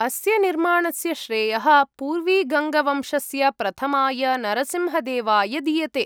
अस्य निर्माणस्य श्रेयः पूर्वीगङ्गवंशस्य प्रथमाय नरसिंहदेवाय दीयते।